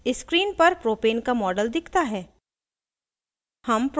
screen पर propane का model दिखता है